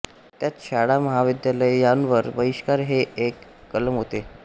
त्यात शाळामहाविद्यालय यांवर बहिष्कार हे एक कलम होते